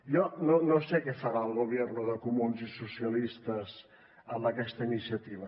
jo no sé què farà el gobierno de comuns i socialistes amb aquesta iniciativa